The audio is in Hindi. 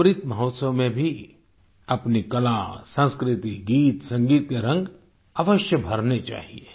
अमृत महोत्सव में भी अपनी कला संस्कृति गीत संगीत के रंग अवश्य भरने चाहिये